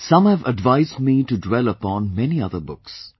Some have advised me to dwell upon many other books